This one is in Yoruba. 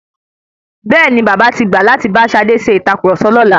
Bẹ́ẹ̀ni, bàbá tí gbà láti bá Ṣadé ṣe ìtàkurọ̀sọ lọ́la.